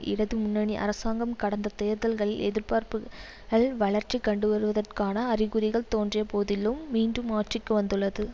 இடது முன்னணி அரசாங்கம் கடந்த தேர்தல்களில் எதிர்ப்புகள் வளர்ச்சி கண்டுவருவதற்கான அறிகுறிகள் தோன்றிய போதிலும் மீண்டும் ஆட்சிக்கு வந்துள்ளது